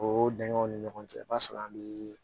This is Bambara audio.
O dingɛw ni ɲɔgɔn cɛ i b'a sɔrɔ an bɛ